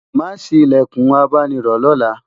má sí ilẹkùn abáni rò lọla